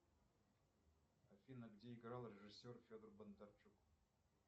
афина где играл режиссер федор бондарчук